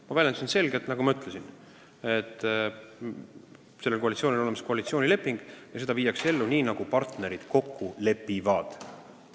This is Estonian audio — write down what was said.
Ma väljendusin selgelt: ma ütlesin, et sellel koalitsioonil on olemas koalitsioonileping ja seda viiakse ellu nii, nagu partnerid kokku lepivad.